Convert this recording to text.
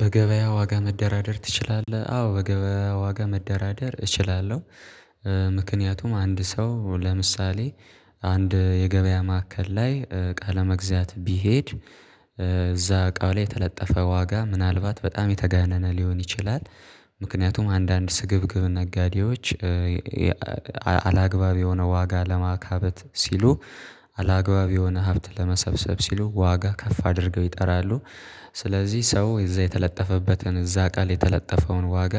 በገበያ ዋጋ መደራደር ትችላለህ አዎ በገበያ ዋጋ መደራደር እችላለሁ ምክንያቱም አንድ ሰው ለምሳሌ አንድ የገበያ ማዕከል ላይ ቃለ መግዛት ቢሄድ እዛ እቃው ላይ የተለጠፈ ዋጋ ምናልባት በጣም የተጋነነ ሊሆን ይችላል ምክንያቱም አንዳንድ ስግብግብ ነጋዴዎች አላግባብ የሆነ ዋጋ ለማካበት ሲሉ አላግባብ የሆነ ሀብት ለመሰብሰብ ሲሉ ዋጋ ከፍ አድርገው ይጠራሉ፤ ስለዚህ ሰው እዛ የተለጠፈበትን እዛ እቃ ላይ የተለጠፈውን ዋጋ